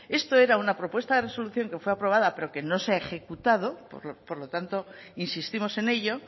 esto era una propuesta de resolución que fue aprobada pero que no se ha ejecutado por lo tanto insistimos en ello